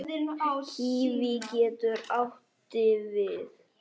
Kíví getur átti við